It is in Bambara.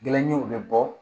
Gɛlɛnjiw bɛ bɔ